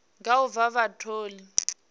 nga u vha vha tholiwa